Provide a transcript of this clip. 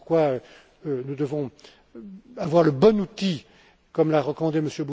Voilà pourquoi nous devons avoir le bon outil, comme l'a recommandé